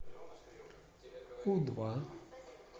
у два